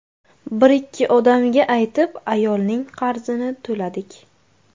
Bir-ikki odamga aytib, ayolning qarzini to‘ladik.